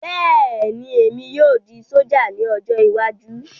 Bẹ́ẹ̀ni, èmi yóò di sójà ní ọjọ́ iwájú